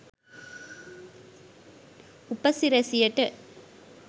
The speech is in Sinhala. උපසිරැසියට.